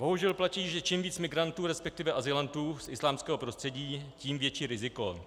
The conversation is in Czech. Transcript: Bohužel platí, že čím víc migrantů, respektive azylantů z islámského prostředí, tím větší riziko.